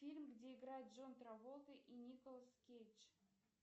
фильм где играет джон траволта и николас кейдж